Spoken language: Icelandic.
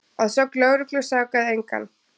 Að sögn lögreglu sakaði engan